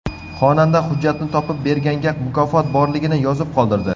Xonanda hujjatni topib berganga mukofot borligini yozib qoldirdi.